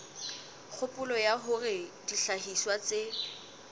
kgopolo ya hore dihlahiswa tse